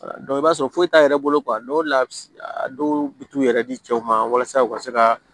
i b'a sɔrɔ foyi t'a yɛrɛ bolo o le la a bi a dɔw bi t'u yɛrɛ di cɛw ma walasa u ka se ka